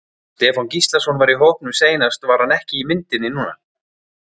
Stefán Gíslason var í hópnum seinast var hann ekki í myndinni núna?